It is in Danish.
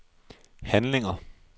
handlinger